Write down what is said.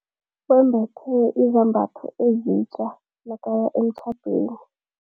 Wembethe izambatho ezitja nakaya emtjhadweni.